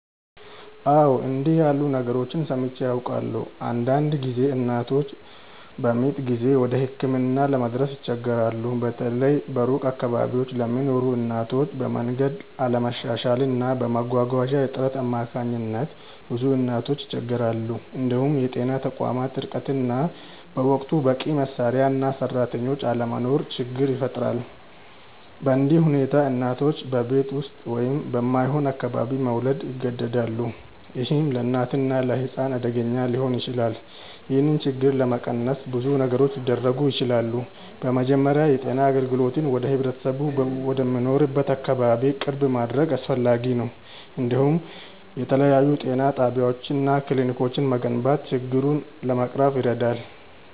አዎ፣ እንዲህ ያሉ ነገሮችን ሰምቼ አውቃለሁ። አንዳንድ ጊዜ እናቶች በምጥ ጊዜ ወደ ሕክምና ለመድረስ ይቸገራሉ፤ በተለይ በሩቅ አካባቢዎች ለሚኖሩ እናቶች፤ በመንገድ አለመሻሻል እና በመጓጓዣ እጥረት አማካኝነት ብዙ እናቶች ይቸገራሉ። እንዲሁም የጤና ተቋማት ርቀት እና በወቅቱ በቂ መሳሪያ እና ሰራተኞች አለመኖር ችግር ይፈጥራል። በእንዲህ ሁኔታ እናቶች በቤት ውስጥ ወይም በማይሆን አካባቢ መውለድ ይገደዳሉ፣ ይህም ለእናትና ለሕፃን አደገኛ ሊሆን ይችላል። ይህን ችግር ለመቀነስ ብዙ ነገሮች ሊደረጉ ይችላሉ። በመጀመሪያ የጤና አገልግሎትን ወደ ህብረተሰቡ ወደሚኖርበት አካባቢ ቅርብ ማድረግ አስፈላጊ ነው፤ እንዲሁም የተለያዩ ጤና ጣቢያዎች እና ክሊኒኮች መገንባት ችግሩን ለመቅረፍ ይረዳል።